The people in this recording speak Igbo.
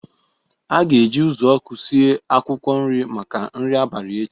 A ga-eji uzuoku sie akwụkwọ nri maka nri abalị echi